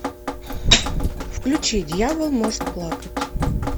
включи дьявол может плакать